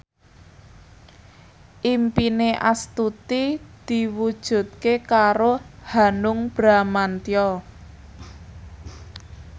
impine Astuti diwujudke karo Hanung Bramantyo